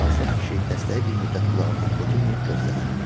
Çalsat kişi dəstəyi bir müddət qulağından götürməyib gözlədi.